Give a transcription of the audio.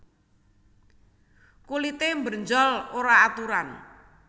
Kulité brenjol ora aturan